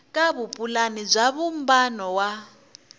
ka vupulani bya vumbano wa